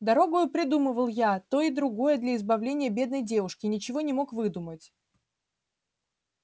дорогою придумывал я и то и другое для избавления бедной девушки и ничего не мог выдумать